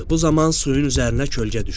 Bu zaman suyun üzərinə kölgə düşdü.